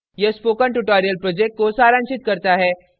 यह spoken tutorial project को सारांशित करता है